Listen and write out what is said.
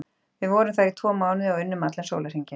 Við vorum þar í tvo mánuði og unnum allan sólarhringinn.